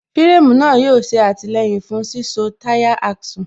fíréémù náà yóò ṣe àtìlẹyìn fún síso táyà Axle